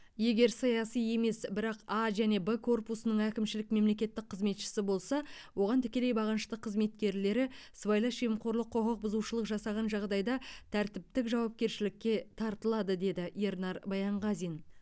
егер саяси емес бірақ а және б корпусының әкімшілік мемлекеттік қызметшісі болса оған тікелей бағынышты қызметкерлері сыбайлас жемқорлық құқық бұзушылық жасаған жағдайда тәртіптік жауапкершілікке тартылады деді ернар баянғазин